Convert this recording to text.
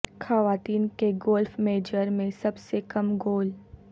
خواتین کے golf major میں سب سے کم گول